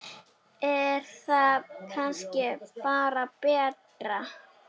Er það kannski bara betra?